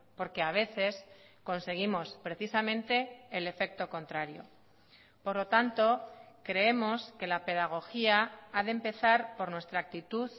porque a veces conseguimos precisamente el efecto contrario por lo tanto creemos que la pedagogía ha de empezar por nuestra actitud